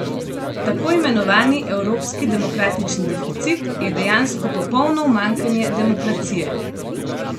Tako imenovani evropski demokratični deficit je dejansko popolno umanjkanje demokracije.